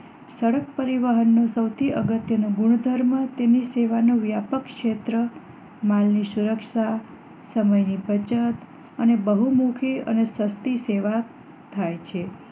સડક પરિવહન નું સૌથી અગત્ય નું ગુણધર્મ તેની સેવા નો વ્યાપક ક્ષેત્ર માલ ની સુરક્ષા સમય ની બચત અને બહુમુખી અને સસ્તી સેવા થાય છે